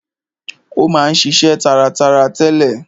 Ó ma ń ṣiṣe taratara tẹ́lẹ̀.